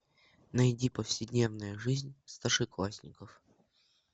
найди повседневная жизнь старшеклассников